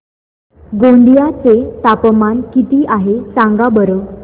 गोंदिया चे तापमान किती आहे सांगा बरं